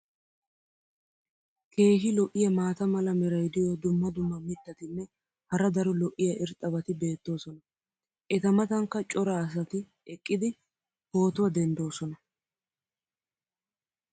keehi lo'iya maata mala meray diyo dumma dumma mitatinne hara daro lo'iya irxxabati beetoosona. eta matankka cora asati eqqidi pootuwa denddoosona.